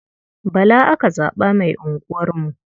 Bala aka zaɓa mai unguwarmu.